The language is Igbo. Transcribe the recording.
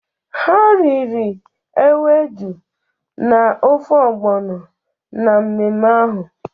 Ha riri ewedu na ofe ogbono na mmemme ahụ.